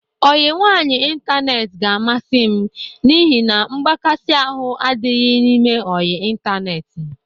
Ọyị nwaanyị ịntaneetị ga-amasị m n'ihi na mgbakasị ahụ adịghị n'ime ọyị ịntaneetị.